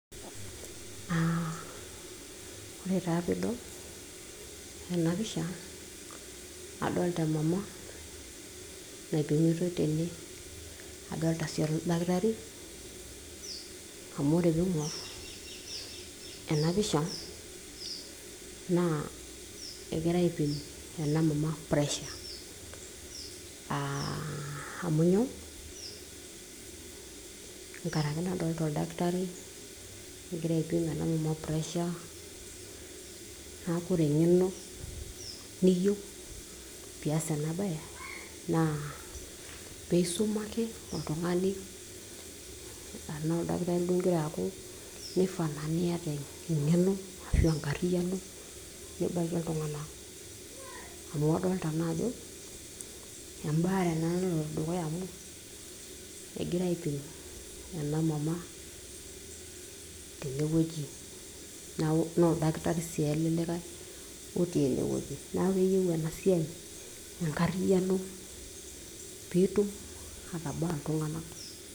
uh, ore taa piidol ena pisha naa adolta emama naipimitoi tene adolta sii oldakitari amu ore piing'orr ena pisha naa egirae aipim ena mama pressure uh, amu nyoo nkaraki nadolta oldakitari egira aipim ena mama pressure neeku ore eng'eno niyieu pias ena baye naa peisuma ake oltung'ani anaa oldakitari duo ingira aaku nifaa naa niyata eng'eno ashu enkarriyiano nibakie iltung'anak amu adolta naa ajo embaare naa naloito dukuya amu egirae aipim ena mama tenewueji naa oldakitari sii ele likae otii enewueji naaku keyieu ena siai enkarriyiano piitum atabaa iltung'anak.